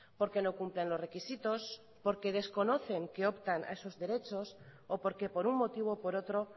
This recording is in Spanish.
porque no cumplen los requisitos porque desconocen que optan a esos derechos o porque por un motivo o por otro